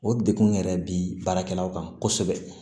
O degun yɛrɛ bi baarakɛlaw kan kosɛbɛ